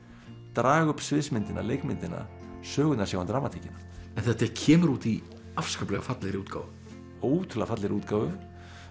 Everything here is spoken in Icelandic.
draga upp sviðsmyndina leikmyndina sögurnar sjá um dramatíkina en þetta kemur út í afskaplega fallegri útgáfu ótrúlega fallegri útgáfu